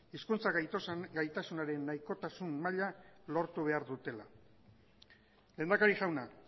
hizkuntza gaitasunaren nahikotasun maila lortu behar dutela lehendakari jauna